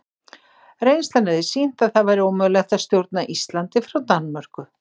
Reynslan hefði sýnt að það væri ómögulegt að stjórna Íslandi frá Danmörku.